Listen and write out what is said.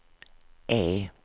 E